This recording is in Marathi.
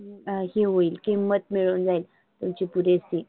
अं हे होईल किंमत मिळून जाईल तुमची पुरेशी.